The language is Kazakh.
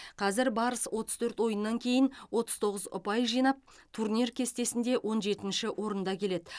қазір барыс отыз төрт ойыннан кейін отыз тоғыз ұпай жинап турнир кестесінде он жетінші орында келеді